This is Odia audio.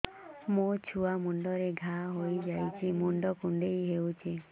ମୋ ଛୁଆ ମୁଣ୍ଡରେ ଘାଆ ହୋଇଯାଇଛି ମୁଣ୍ଡ କୁଣ୍ଡେଇ ହେଉଛି